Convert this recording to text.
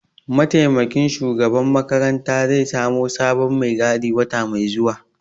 Mataimakin shugaban makaranta zai samo sabon mai gadi wata mai zuwa